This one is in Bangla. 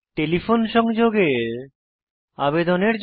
টেলিফোন সংযোগের আবেদনের জন্য